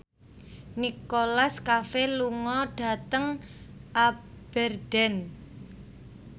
Nicholas Cafe lunga dhateng Aberdeen